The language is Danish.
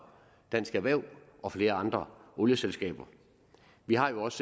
dansk erhverv og flere olieselskaber vi har jo også